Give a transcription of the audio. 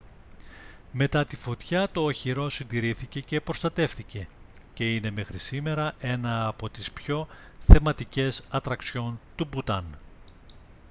μετά τη φωτιά το οχυρό συντηρήθηκε και προστατεύθηκε και είναι μέχρι σήμερα ένα από τις πιο θεματικές ατραξιόν του μπουτάν